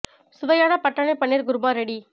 சுவையான பட்டாணி பன்னீர் குருமா ரெடி